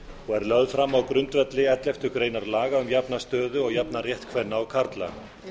og er lögð fram á grundvelli elleftu grein laga um jafna stöðu og jafnan rétt kvenna og karla